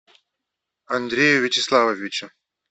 андрею вячеславовичу